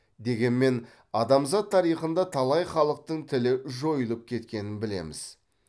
дегенмен адамзат тарихында талай халықтың тілі жойылып кеткенін білеміз